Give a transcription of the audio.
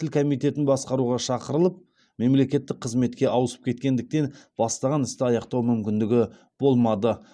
тіл комитетін басқаруға шақырылып мемлекеттік қызметке ауысып кеткендіктен бастаған істі аяқтау мүмкіндігі болмады